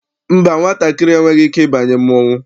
Mba, nwatakịrị enweghị ike ịbanye mmọnwụ.